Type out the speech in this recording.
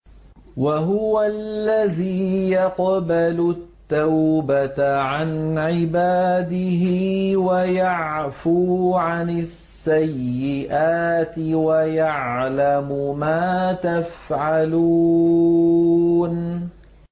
وَهُوَ الَّذِي يَقْبَلُ التَّوْبَةَ عَنْ عِبَادِهِ وَيَعْفُو عَنِ السَّيِّئَاتِ وَيَعْلَمُ مَا تَفْعَلُونَ